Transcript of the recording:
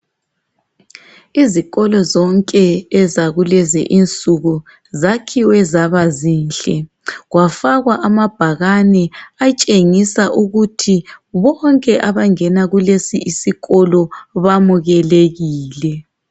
Izikolo zonke zakulezinsuku zakhiwe zaba zinhle kwafakwa amabhakane atshengisa ukuthi bonke abangena kulesi isikolo bamukelekile.